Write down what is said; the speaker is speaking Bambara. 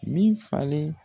Min falen